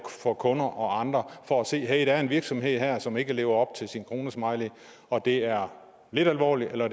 for kunder og andre for at se at der er en virksomhed her som ikke lever op til sin kronesmiley og at det er lidt alvorligt eller